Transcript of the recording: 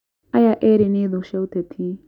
Aya eri nĩ thũ cia ũteti